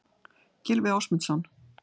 Gylfi Ásmundsson.